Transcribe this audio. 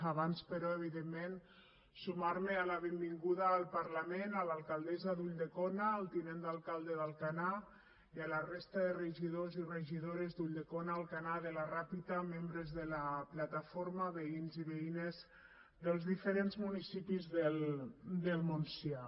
abans però evidentment sumar me a la benvinguda al parlament a l’alcaldessa d’ulldecona al tinent d’alcalde d’alcanar i a la resta de regidors i regidores d’ulldecona d’alcanar de la ràpita membres de la plataforma veïns i veïnes dels diferents municipis del montsià